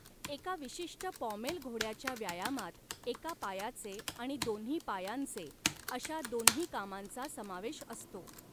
एका विशिष्ट पॉमेल घोड्याच्या व्यायामात एका पायाचे आणि दोन्ही पायांचे अशा दोन्हीं कामांचा समावेश असतो.